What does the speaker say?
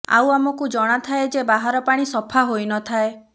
ଆଉ ଆମକୁ ଜଣାଥାଏ ଯେ ବାହାର ପାଣି ସଫା ହୋଇନଥାଏ